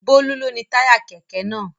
Bólú ló ni táyà kẹ̀kẹ́ náà.